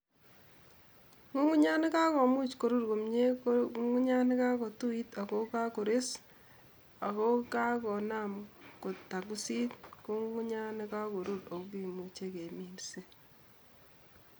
Ng'ung'unyat ne kakomuch korur komie ko Ng'ung'unyat ne kagotuit ako kagores ako kagonam kotangusit, ko Ng'ung'unyat ne kagorur ako kimuchei keminset.